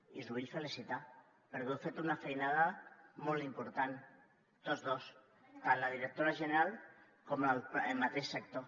i us vull felicitar perquè heu fet una feinada molt important tots dos tant la directora general com el mateix sector